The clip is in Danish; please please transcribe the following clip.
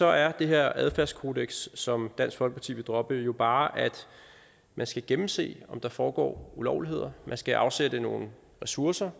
er det her adfærdskodeks som dansk folkeparti vil droppe jo bare at man skal gennemse om der foregår ulovligheder man skal afsætte nogle ressourcer